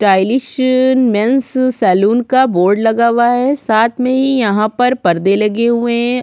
Stylish men's salon का board लगा हुआ है साथ में यहाँ पर पर्दे लगे हुये है।